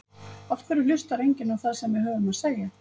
Af hverju hlustar enginn á það sem við höfum að segja?